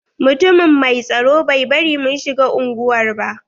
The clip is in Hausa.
Mutumin mai tsaro bai bari mun shiga unguwar ba.